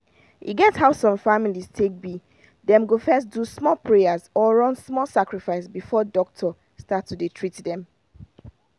e get how some families take be dem go first do some prayers or run small sacrifice before doctor start to dey treat them.